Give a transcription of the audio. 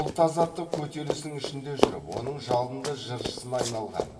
ұлт азаттық көтерілісінің ішінде жүріп оның жалынды жыршысына айналған